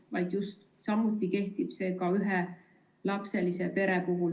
Samamoodi kehtib perepileti soodustus ka ühelapselise pere puhul.